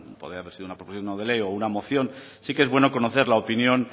poder traer una propuesta no de ley o una moción sí que es bueno conocer la opinión